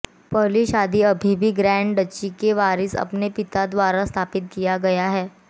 पहली शादी अभी भी ग्रैंड डची के वारिस अपने पिता द्वारा स्थापित किया गया है